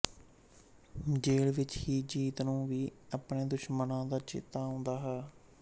jail ਵਿਚ ਹੀ ਜੀਤ ਨੂੰ ਵੀ ਆਪਣੇ ਦੁਸ਼ਕਰਮਾਂ ਦਾ ਚੇਤਾ ਆਉਂਦਾ ਹੈ